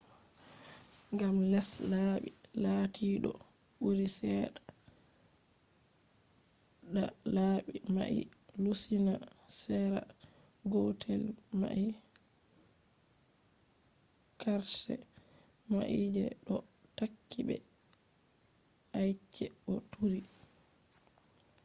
gam les laɓi lati ɗo turi seɗɗa ta laɓi mai lusina sera gotel mai qarshe mai je ɗo takki be ice bo turi